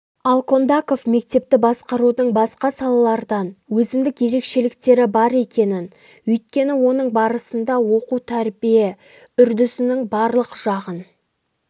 ал кондаков мектепті басқарудың басқа салалардан өзіндік ерекшеліктері бар екенін өйткені оның барысында оқу тәрбие үрдісінің барлық жағын